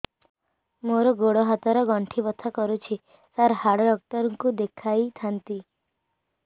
ମୋର ଗୋଡ ହାତ ର ଗଣ୍ଠି ବଥା କରୁଛି ସାର ହାଡ଼ ଡାକ୍ତର ଙ୍କୁ ଦେଖାଇ ଥାନ୍ତି